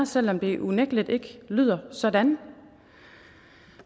selv om det unægtelig ikke lyder sådan